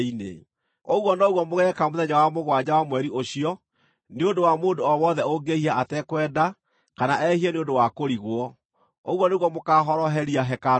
Ũguo noguo mũgeeka mũthenya wa mũgwanja wa mweri ũcio nĩ ũndũ wa mũndũ o wothe ũngĩĩhia atekwenda kana ehie nĩ ũndũ wa kũrigwo; ũguo nĩguo mũkaahoroheria hekarũ ĩyo.